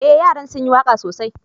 Eh, yaran sun yi waka sosai.